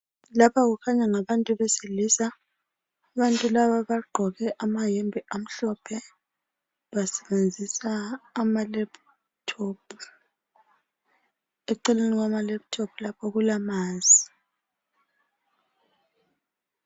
Lapha kukhanya ngabantu besilisa, abantu laba bagqoke amayembe amhlophe. Basebenzisa ama laptop, eceleni kwama laptop lapho kulamanzi